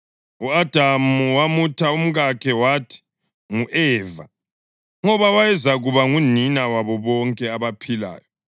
U-Adamu wamutha umkakhe wathi ngu-Eva, ngoba wayezakuba ngunina wabo bonke abaphilayo.